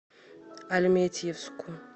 альметьевску